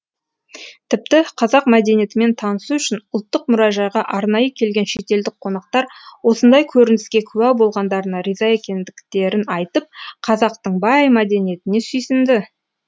тіпті қазақ мәдениетімен танысу үшін ұлттық мұражайға арнайы келген шетелдік қонақтар осындай көрініске куә болғандарына риза екендіктерін айтып қазақтың бай мәдениетіне сүйсінді